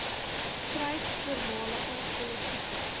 stryd voormalige politieke